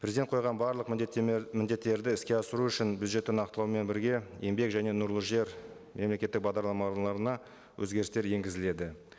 президент қойған барлық міндеттерді іске асыру үшін бюджетті нақтылаумен бірге еңбек және нұрлы жер мемлекеттік өзгерістер енгізіледі